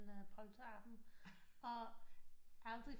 En polterabent og aldrig